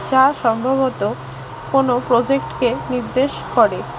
যা সম্ভবত কোন প্রজেক্টকে নির্দেশ করে।